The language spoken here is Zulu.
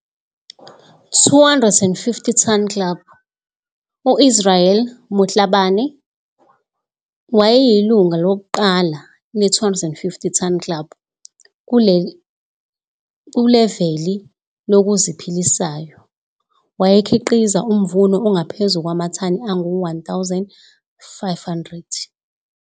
250 ton Club- UIsrael Motlhabane wayeyilunga lokuqala le250 Ton Club kuleveli lokuziphilisayo, wayekhiqiza umvuno ongaphezu kwamathani angu-1 500.